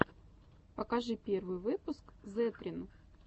покажи первый выпуск зэтрин